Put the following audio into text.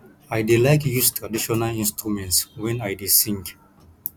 i dey like use traditional instruments wen i dey sing